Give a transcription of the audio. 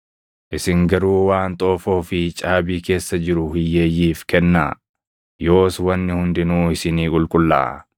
Isin garuu waan xoofoo fi caabii keessa jiru hiyyeeyyiif kennaa; yoos wanni hundinuu isinii qulqullaaʼaa.